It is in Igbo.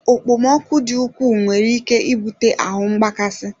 Okpomọkụ dị ukwuu nwere ike ibute ahu mgbakasị